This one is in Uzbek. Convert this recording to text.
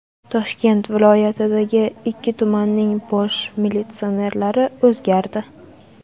Toshkent viloyatidagi ikki tumanning bosh militsionerlari o‘zgardi.